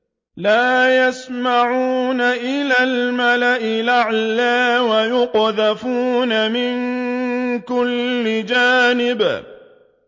لَّا يَسَّمَّعُونَ إِلَى الْمَلَإِ الْأَعْلَىٰ وَيُقْذَفُونَ مِن كُلِّ جَانِبٍ